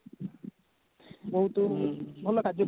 ବହୁତ ଭଲ କାର୍ଯ୍ୟକ୍ରମ